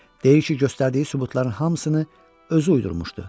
Deyir ki, göstərdiyi sübutların hamısını özü uydurmuşdu.